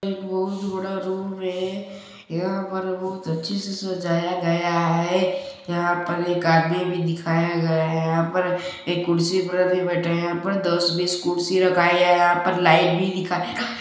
एक बहुत बड़ा रूम है यहाँ पर बहुत अच्छे से सजाया गया है यहाँ पर एक आदमी भी दिखाया गया है यहाँ पर एक कुर्सी पर भी बैठे है यहाँ पर दस बिस कुर्सी रखाया है यहाँ पर एक आदमी भी दिखाया गया है।